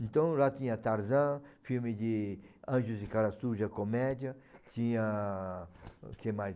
Então lá tinha Tarzan, filme de Anjos de Cara Suja, comédia, tinha o que mais?